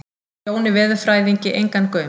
Jóni veðurfræðingi engan gaum.